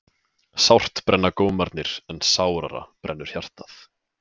Sárt brenna gómarnir en sárara brennur hjartað.